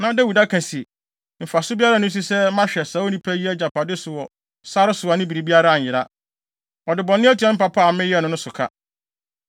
Na Dawid aka se, “Mfaso biara nni so sɛ mahwɛ saa onipa yi agyapade so wɔ sare so a ne biribiara anyera. Ɔde bɔne atua me papa a meyɛɛ no no so ka.